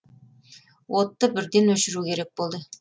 отты бірден өшіру керек болды